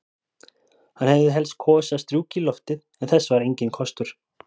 Hann hefði helst kosið að strjúka í loftið, en þess var enginn kostur.